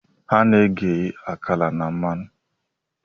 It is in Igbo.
Ana-eghe akara na mmanụ.